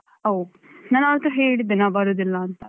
ಓಹ್ ನಾನ್ ಆವತ್ತು ಹೇಳಿದ್ದೆ ನಾನ್ ಬರುದಿಲ್ಲ ಅಂತ